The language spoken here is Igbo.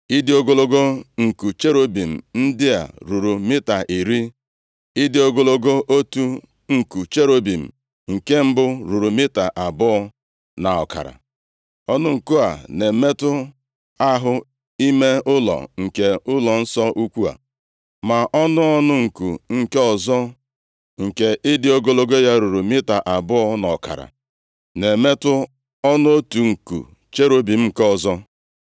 Ịdị ogologo nku cherubim ndị a ruru mita iri. Ịdị ogologo otu nku cherub nke mbụ ruru mita abụọ na ọkara. Ọnụ nku a na-emetụ ahụ ime ụlọ nke ụlọnsọ ukwu, ma ọnụ ọnụ nku nke ọzọ, nke ịdị ogologo ya ruru mita abụọ nʼọkara, na-emetụ ọnụ otu nku cherub nke ọzọ.